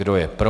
Kdo je pro?